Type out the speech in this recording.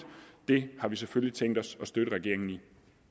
det har vi selvfølgelig tænkt os at støtte regeringen i